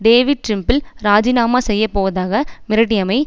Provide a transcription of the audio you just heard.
David Trimble இராஜினாமா செய்ய போவதாக மிரட்டியமை